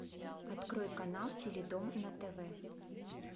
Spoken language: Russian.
открой канал теледом на тв